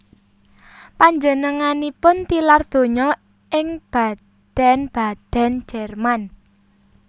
Panjenenganipun tilar donya ing Baden Baden Jerman